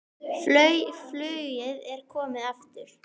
Flauel er komið aftur.